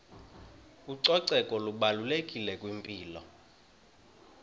ucoceko lubalulekile kwimpilo